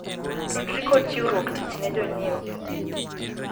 tudri kod chiwruok tich ne jonyiewo